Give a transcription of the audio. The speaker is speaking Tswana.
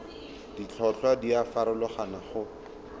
ditlhotlhwa di a farologana go